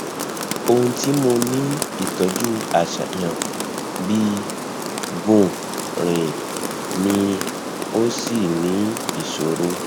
ohun ti mo ni itọju aṣayan bi gun rin ni o ni isoro